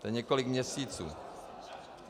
To je několik měsíců.